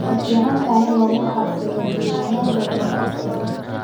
Way fiicantahay in lagu xafido diiwaanada luuqad fudud.